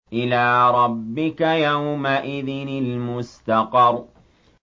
إِلَىٰ رَبِّكَ يَوْمَئِذٍ الْمُسْتَقَرُّ